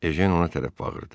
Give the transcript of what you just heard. Ejen ona tərəf bağırdı: